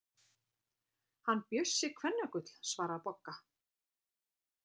Hann Bjössi kvennagull, svaraði Bogga.